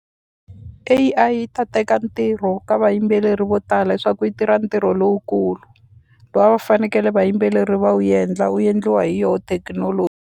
A_I yi ta teka ntirho ka vayimbeleri vo tala hi swa ku yi tirha ntirho lowukulu lowu a va fanekele vayimbeleri va wu endla wu endliwa hi yo .